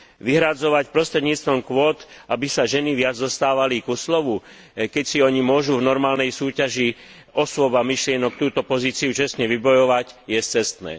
Vyhradzovať prostredníctvom kvót, aby sa ženy viac dostávali ku slovu, keď si ony môžu v normálnej súťaži osôb a myšlienok túto pozíciu čestne vybojovať, je scestné.